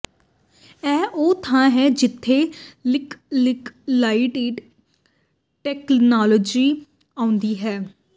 ਇਹ ਉਹ ਥਾਂ ਹੈ ਜਿੱਥੇ ਲਿਕਲੀਗਲਾਈਡ ਟੈਕਨਾਲੌਜੀ ਆਉਂਦੀ ਹੈ